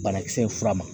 Banakisɛ ye fura ma